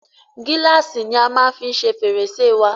Gílàsì ni a maá fí ṣe fẹ̀rẹ̀sẹ́ wa